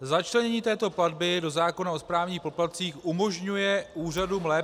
Začlenění této platby do zákona o správních poplatcích umožňuje úřadům lépe -